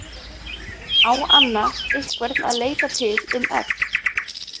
Á Anna einhvern að leita til um egg?